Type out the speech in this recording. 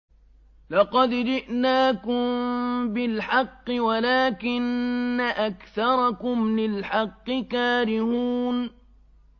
لَقَدْ جِئْنَاكُم بِالْحَقِّ وَلَٰكِنَّ أَكْثَرَكُمْ لِلْحَقِّ كَارِهُونَ